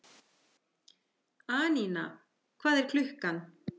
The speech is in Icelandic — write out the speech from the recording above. Anína, hvað er klukkan?